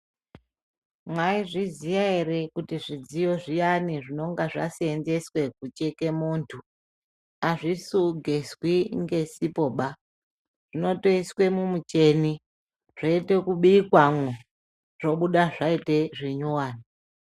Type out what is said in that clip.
Mwaizviziya ere kuti zvidziyo zviyani zvinonga zvaseenzeswe kucheke muntu hazvigezwi ngesipoba, zvinotoiswe mumuchini zvoite kubikwamwo zvobude zvaite zvinyuwani.